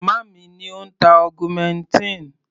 Màmá mi ni ó ń tá augmentin.